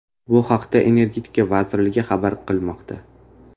Bu haqda Energetika vazirligi xabar qilmoqda .